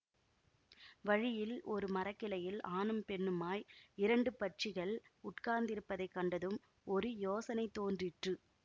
வழியில் ஒரு மரக்கிளையில் ஆணும் பெண்ணுமாய் இரண்டு பட்சிகள் உட்கார்ந்திருப்பதை கண்டதும் ஒரு யோசனை தோன்றிற்று